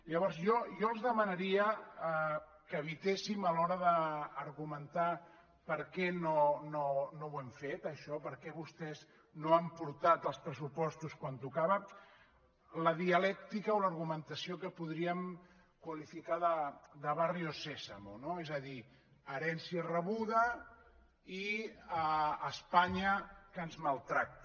llavors jo els demanaria que evitéssim a l’hora d’argumentar per què no ho hem fet això per què vostès no han portat els pressupostos quan tocava la dialèctica o l’argumentació que podríem qualificar de sésamo no és a dir herència rebuda i espanya que ens maltracta